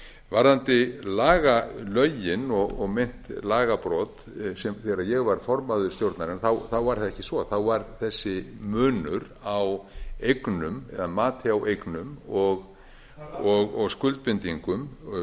varðandi lögin og meint lagabrot þegar ég var formaður stjórnarinnar var það ekki svo þá var þessi munur á eignum eða mati á eignum og skuldbindingum